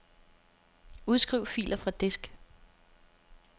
Udskriv filer fra disk.